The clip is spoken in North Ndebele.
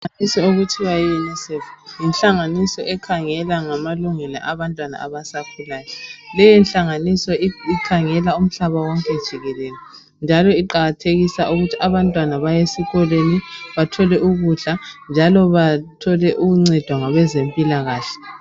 Inhlanganiso okuthiwa Yunisefu, yinhlanganiso ekhangela ngamalungelo abantwana abasakhulayo. Leyi nhlanganiso ikhangela umhlaba wonke jikelele, njalo iqakathekisa ukuthi abantwana bay' esikolweni, bathole ukudla njalo bathole ukuncedwa ngabezempilakahle.